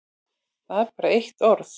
Það er bara eitt orð.